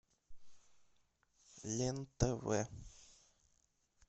лен тв